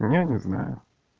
ну я не знаю